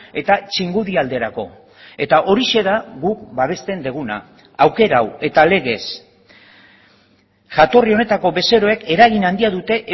eta txingudi alderako eta horixe da guk babesten duguna aukera hau eta legez jatorri honetako bezeroek eragin handia dute